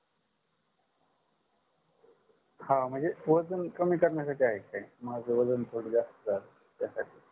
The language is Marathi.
हा म्हणजे वजन कमी कारण्यासाठी आहे का काही. माझ वजन थोड जास्त झालय त्यासाठी